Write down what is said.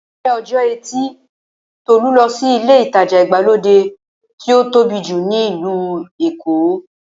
Ní ọjọ́ ẹtì Tolú lọ sí ilé ìtajà ìgbàlódé tí ó tóbi jù ní ìlú Èkó.